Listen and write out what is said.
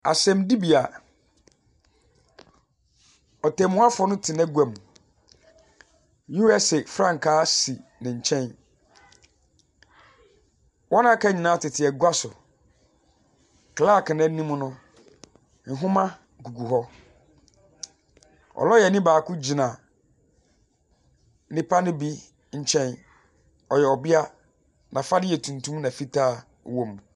Asɛmdibea, ɔtenmuafo no te n'aguam. USA frankaa si ne nkyɛn. Wɔn a aka nyinaa tete agua so. Clarke no anim no, nwoma gugu hɔ. Lɔyani baako gyina nnipa no bi nkyɛn. Ɔyɛ ɔbea. N'afade yɛ tuntum na fitaa wɔ mu.